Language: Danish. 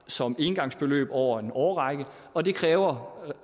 som engangsbeløb over en årrække og det kræver